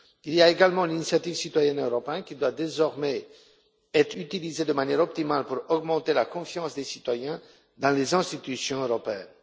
Il y a également l'initiative citoyenne européenne, qui doit désormais être utilisée de manière optimale pour accroître la confiance des citoyens dans les institutions européennes.